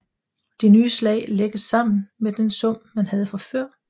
De nye slag lægges sammen med den sum man havde fra før